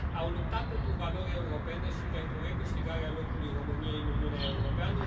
Au luptat pentru valori europene și pentru recâștigarea locului României în Uniunea Europeană.